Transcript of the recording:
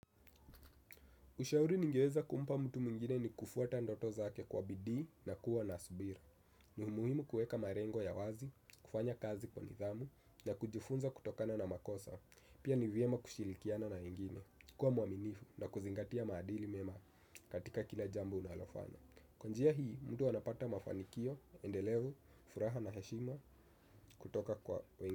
Ushauri nigeweza kumpa mtu mwingine ni kufuata ndoto zake kwa bidii na kuwa na subira. Ni muhimu kuweka malengo ya wazi, kufanya kazi kwa nithamu, na kujifunza kutokana na makosa. Pia ni vyema kushirikiana na wengine, kwa mwaminifu na kuzingatia maadili mema katika kila jambo unalofanya. Kwa njia hii, mtu anapata mafanikio, endelevu, furaha na hashima kutoka kwa wengine.